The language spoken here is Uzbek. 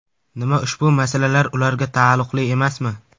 Nima ushbu masalalar ularga taalluqli emasmi?